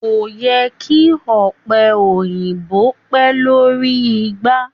kò yẹ kí Ọ̀pẹ̀ Òyìnbó pẹ̀ lórí igbá.